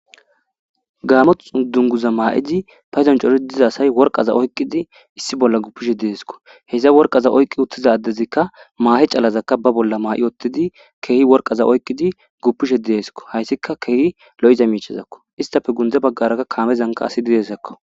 Gaamot dunguza maa7idi payzon cori diza asay worqaza oykqidi issi bolla gupishe diesko heza worqaza oyqqi uttizadezikka maa7i calazakka ba bolla maa7i ottidi keehi worqaza oyqqidi guppishe dideesko hayssika keehi lo7iza miichezakko istafe gunde baggaraka kaamezanka asi didesakko